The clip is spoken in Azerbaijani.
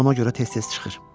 Ona görə tez-tez çıxır.